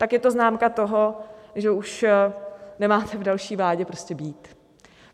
Tak je to známka toho, že už nemáte v další vládě prostě být.